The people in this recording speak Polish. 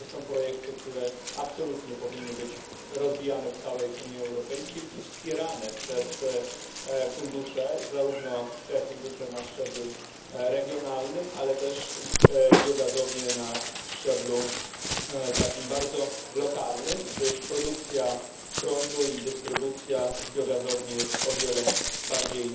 I to są projekty, które absolutnie powinny być rozwijane w całej Unii Europejskiej i wspierane przez fundusze, zarówno te fundusze na szczeblu regionalnym, ale też biogazownie na szczeblu bardzo lokalnym gdyż produkcja prądu i dystrybucja z gazowni jest o wiele bardziej